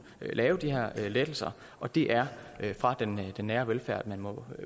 lave de her lettelser og det er fra den nære velfærd man må